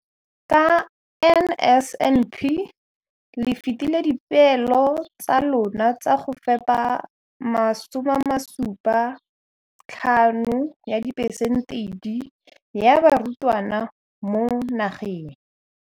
Ka NSNP le fetile dipeelo tsa lona tsa go fepa masome a supa le botlhano a diperesente ya barutwana ba mo nageng.